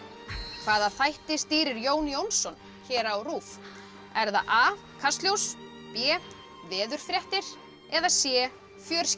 hvaða þætti stýrir Jón Jónsson hér á RÚV er það a kastljós b veðurfréttir eða c